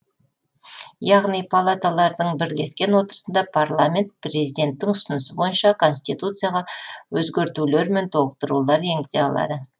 яғни палаталардың бірлескен отырысында парламент президенттің ұсынысы бойынша конституцияға өзгертулер мен толықтырулар енгізе алады